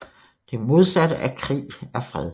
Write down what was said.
Det modsatte af krig er fred